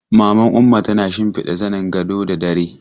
Maman Umma tana shimfiɗa zanin gado da dare.